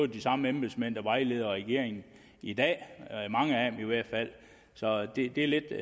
de samme embedsmænd der vejleder regeringen i dag mange af dem i hvert fald så det